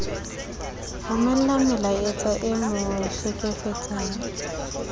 romellwa melaetsa e mo hlekefetsang